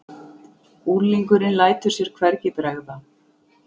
Unglingurinn lætur sér hvergi bregða.